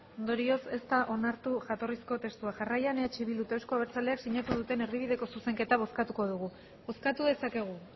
ondorioz ez da onartu jatorrizko testua jarraian eh bilduk eta euzko abertzaleak sinatu duten erdibideko zuzenketa bozkatu dugu bozkatu dezakegu